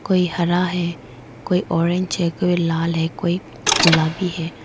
कोई हारा है कोई ऑरेंज है कोई लाल है कोई गुलाबी है।